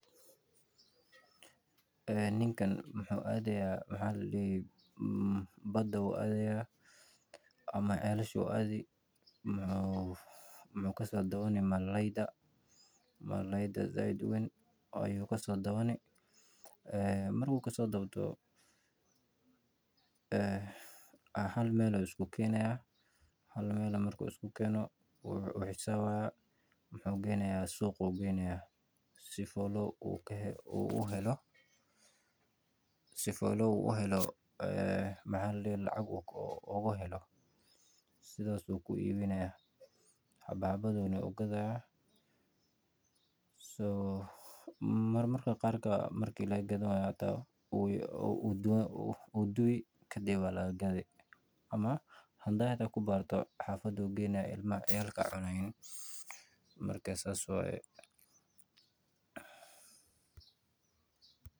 Ninkan wuxuu adaaya bada ama celasha muxuu kasoo dabani malalayda marki uu kasoo dabdo hal meel ayuu isku keenaya wuxuu geynaya suuqa si uu lacag ooga helo saas ayuu u iibini marmarka qaar marki laga gadan waayo wuu dubi ama ciyaalka ayaa cuni.